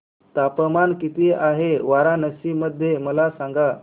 तापमान किती आहे वाराणसी मध्ये मला सांगा